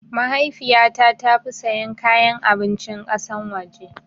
Mahaifiyata tafi sayan kayan abincin kasan waje